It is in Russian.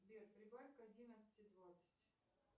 сбер прибавь к одиннадцати двадцать